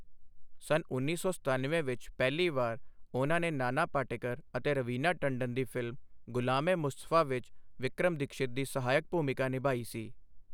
ਸੰਨ ਉੱਨੀ ਸੌ ਸਤਨਵੇਂ ਵਿੱਚ ਪਹਿਲੀ ਵਾਰ ਉਹਨਾਂ ਨੇ ਨਾਨਾ ਪਾਟੇਕਰ ਅਤੇ ਰਵੀਨਾ ਟੰਡਨ ਦੀ ਫਿਲਮ ਗੁਲਾਮ ਏ ਮੁਸਤਫਾ ਵਿੱਚ ਵਿਕਰਮ ਦੀਕਸ਼ਿਤ ਦੀ ਸਹਾਇਕ ਭੂਮਿਕਾ ਨਿਭਾਈ ਸੀ।